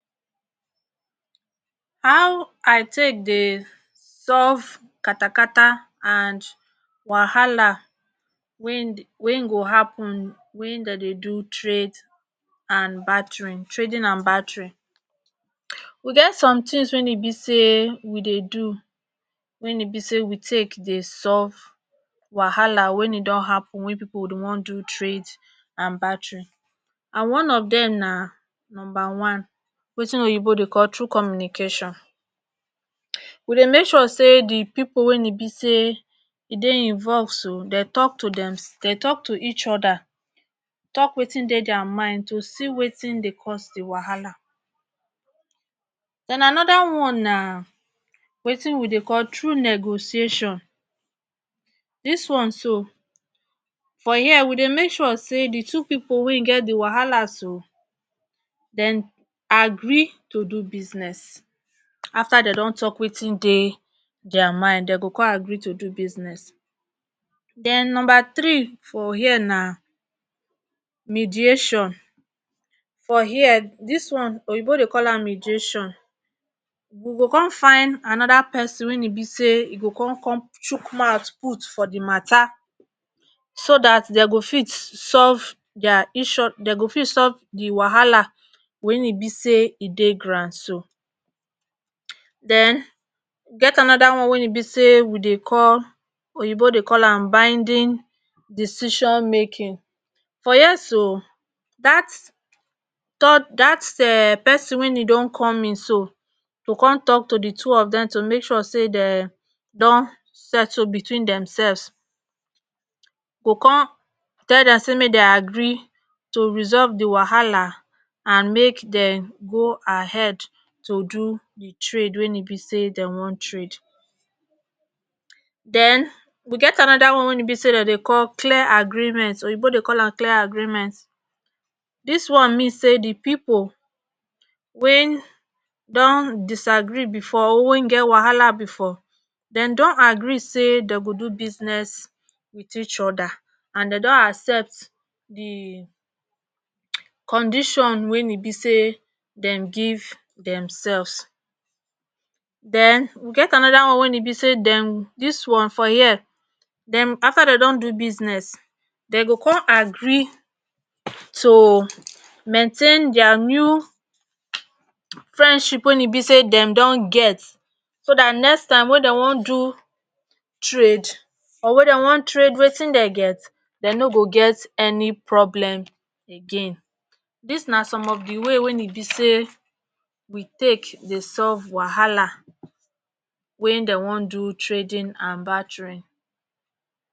how i take dey solve katakata and wahala wey dey wey go hapun wey den dey do trade and batirin trading and badtirin wu get some tins weyn e be say we dey do wen e be say we take dey solve wahala weyn e don hapun wen pipo wan do trade and battary and one of dem na numba one watin oyibo dey call tru communication, we dey make sure say di pipo wen e be say e dey involve so den tok tu dem den tok tu each oda tok watin dey dier mind tu see watin dey cause di wahala. den anoda one na watin we dey call tru negosiation, dis one so for here we dey make sure say di two pipo wey get di wahala so dem agree tu do business after dem dey tok watin dey dier mind den go con agree tu do business. den number tree for here na midiation for here dis one oyibo dey call an midiation, wu go con find anoda pesin wen e be say go con com shook mout put for di matter so dat den go fit solve dier each o den go fit solve di wahala weyn e be say e dey ground so. den e get anoda one wey e be say we dey call oyibo dey call am baindin decision making for here so dat tor dat um pesin wen e don com in so to con tok di di two of dem tu makse sure say den don settle betwin dem selvs go con tell dem say make den agree tu resolve di wahala and mak dem go ahead tu do di trade wen e be say den won trade. den we get anoda one wen e be say den dey call clear agreement oyibo dey call an clear agreement dis one mean say di pipo weyn don dis agree bfor wen get wahla bfor den agree say den go do business wit each oda and den don accept di um condition wen e be say dem give dem selvs den wu get anoda one wen e be say dem di one for here dem after dem don do business den go con agree tu maintain dier new friendship weyn e be say den don get so dat next time wen den wan do trade or wen dey wan trade watin dn get den no go get eni problem again, dis na som of di way wey e be say we take dey solve wahala weyn dey wan do trading and baterin